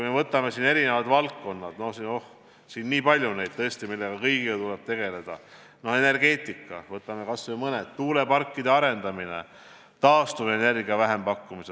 Võtame erinevad valdkonnad – oh, seda on tõesti väga palju, mille kõigega tuleb tegeleda –, näiteks energeetika, kas või tuuleparkide arendamine, taastuvenergia vähempakkumised.